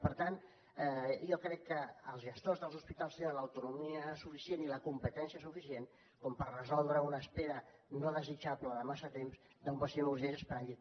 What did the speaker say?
per tant jo crec que els gestors dels hospitals tenen l’autonomia suficient i la competència suficient per resoldre una espera no desitjable de massa temps d’un pacient urgent esperant llit